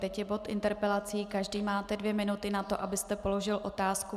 Teď je bod interpelací, každý máte dvě minuty na to, abyste položil otázku.